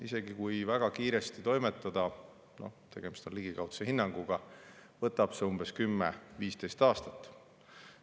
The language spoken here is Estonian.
Isegi kui väga kiiresti toimetada – tegemist on ligikaudse hinnanguga –, võtab see 10–15 aastat.